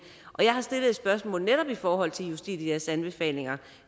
og jeg har tidligere stillet et spørgsmål netop i forhold til justitias anbefalinger